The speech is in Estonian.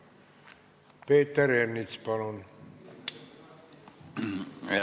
Peeter Ernits, palun!